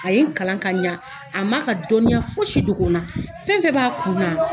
A ye n kalan ka ɲɛ. A ma ka dɔnniya fo si dogo n na. Fɛn b'a kunna